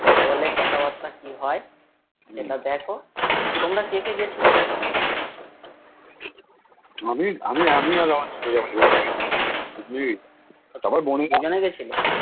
কি বলে কথা বার্তা কি হয় দেখ আর তোমরা কে কে গেছিলে দুইজনে গেছিলে